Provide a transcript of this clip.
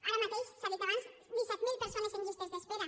ara mateix s’ha dit abans disset mil persones en llistes d’espera